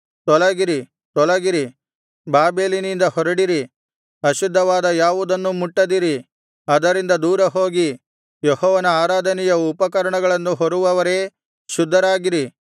ತೊಲಗಿರಿ ತೊಲಗಿರಿ ಬಾಬೆಲಿನಿಂದ ಹೊರಡಿರಿ ಅಶುದ್ಧವಾದ ಯಾವುದನ್ನೂ ಮುಟ್ಟದಿರಿ ಅದರಿಂದ ದೂರ ಹೋಗಿ ಯೆಹೋವನ ಆರಾಧನೆಯ ಉಪಕರಣಗಳನ್ನು ಹೊರುವವರೇ ಶುದ್ಧರಾಗಿರಿ